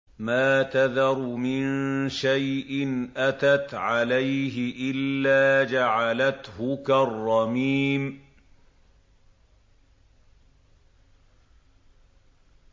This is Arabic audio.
مَا تَذَرُ مِن شَيْءٍ أَتَتْ عَلَيْهِ إِلَّا جَعَلَتْهُ كَالرَّمِيمِ